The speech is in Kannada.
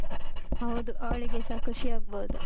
ಹೌದು, ಅವಳಿಗೆಸ ಖುಷಿ ಆಗ್ಬೋದು.